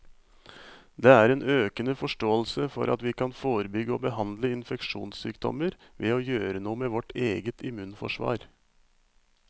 Det er en økende forståelse for at vi kan forebygge og behandle infeksjonssykdommer ved å gjøre noe med vårt eget immunforsvar.